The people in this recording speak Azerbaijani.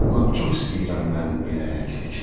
Lap çox istəyirəm mən belə rəngli kitabı.